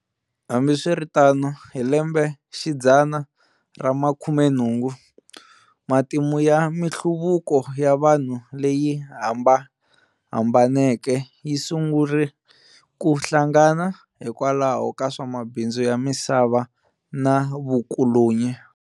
Hambi swiritano, hi lembexidzana ra makhumenhungu, matimu ya minhluvuko ya vanhu leyi hambahambaneke yisungule ke hlangana hikwalaho ka swamabindzu ya misava na vukolonyi.